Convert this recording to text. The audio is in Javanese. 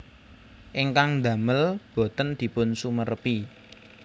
Ingkang ndamel boten dipun sumerepi